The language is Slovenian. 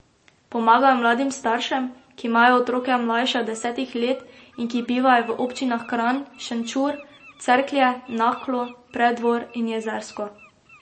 Pomagajo mladim staršem, ki imajo otroke mlajše od desetih let in ki bivajo v občinah Kranj, Šenčur, Cerklje, Naklo, Preddvor in Jezersko.